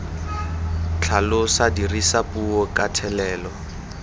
tlhalosa dirisa puo ka thelelo